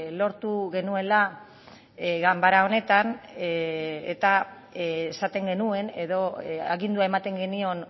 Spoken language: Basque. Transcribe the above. lortu genuela ganbara honetan eta esaten genuen edo agindua ematen genion